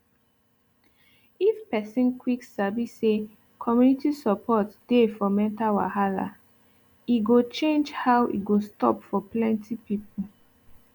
if person quick sabi say community support dey for mental wahala e go change how e go stop for plenty people